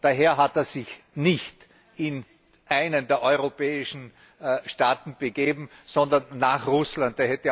Daher hat er sich nicht in einen der europäischen Staaten begeben, sondern nach Russland.